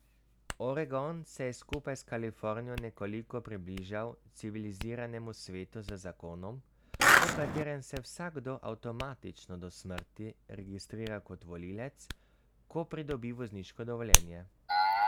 Oregon se je skupaj s Kalifornijo nekoliko približal civiliziranemu svetu z zakonom, po katerem se vsakdo avtomatično do smrti registrira kot volivec, ko pridobi vozniško dovoljenje.